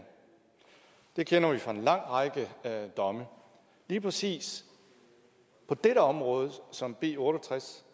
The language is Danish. det kender vi fra en lang række domme lige præcis på dette område som b otte og tres